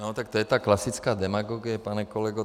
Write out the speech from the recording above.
No, tak to je ta klasická demagogie, pane kolego.